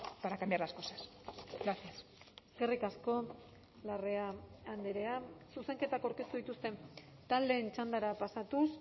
para cambiar las cosas gracias eskerrik asko larrea andrea zuzenketak aurkeztu dituzten taldeen txandara pasatuz